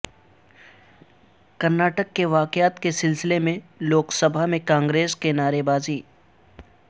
کرناٹک کے واقعات کے سلسلے میں لوک سبھا میں کانگریس کی نعرےبازی